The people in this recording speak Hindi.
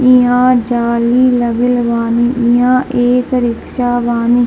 यहाँ जाली लगल बानी | यह एक रिक्सा बानी |